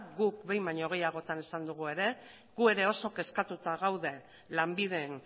guk behin baino gehiagotan esan dugu ere gu ere oso kezkatuta gaude lanbiden